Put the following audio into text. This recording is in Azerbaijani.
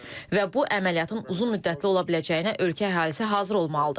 Və bu əməliyyatın uzunmüddətli ola biləcəyinə ölkə əhalisi hazır olmalıdır.